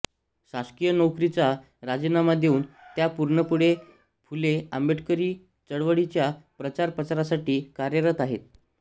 शासकीय नोकरीचा राजीनामा देऊन त्या पूर्णवेळ फुले आंबेडकरी चळवळीच्या प्रचार प्रसारासाठी कार्यरत आहेत